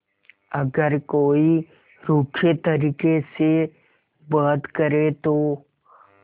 अगर कोई रूखे तरीके से बात करे तो